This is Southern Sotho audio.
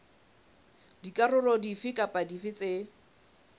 dikarolo dife kapa dife tse